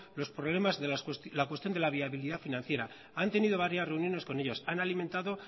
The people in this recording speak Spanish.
los problemas de la cuestión de la viabilidad financiera han tenido varias reuniones con ellos han alimentado